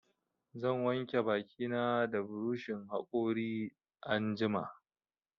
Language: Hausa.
Zan wanke baki na da buroshin haƙori anjima